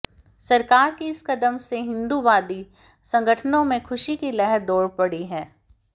सरकार के इस कदम से हिंदूवादी संगठनों में खुशी की लहर दौड़ पड़ी है